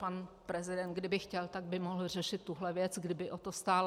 Pan prezident, kdyby chtěl, tak by mohl řešit tuhle věc, kdyby o to stál.